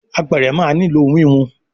Àpẹrẹ má ní ló wiwun